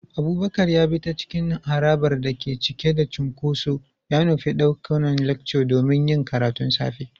Abubakar ya bi ta cikin harabar da ke cike da cunkoso, ya nufi ɗakunan lecture domin yin karatun safe.